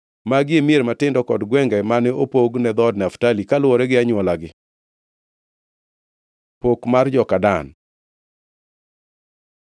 Magi e mier matindo kod gwenge mane opog ne dhood Naftali, kaluwore gi anywolagi. Pok mar joka Dan